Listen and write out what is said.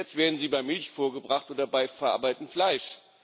Jetzt werden sie bei Milch vorgebracht oder bei verarbeitetem Fleisch.